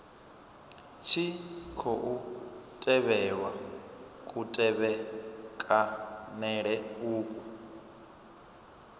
tshi khou tevhelwa kutevhekanele uku